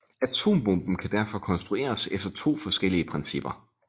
Atombomben kan derfor konstrueres efter to forskellige principper